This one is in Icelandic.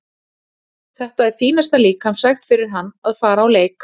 Þetta er fínasta líkamsrækt fyrir hann að fara á leik.